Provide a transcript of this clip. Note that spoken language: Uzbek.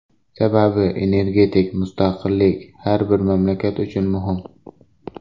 Sababi, energetik mustaqillik har bir mamlakat uchun muhim.